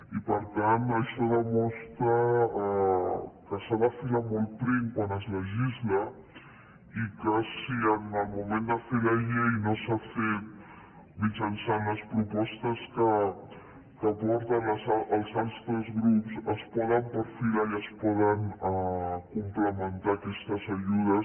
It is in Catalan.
i per tant això demostra que s’ha de filar molt prim quan es legisla i que si en el moment de fer la llei no s’ha fet mitjançant les propostes que porten els altres grups es poden perfilar i es poden complementar aquestes ajudes